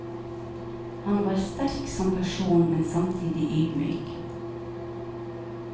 Han var sterk som person, men samtidig ydmyk.